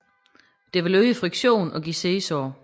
Det vil øge friktionen og give siddesår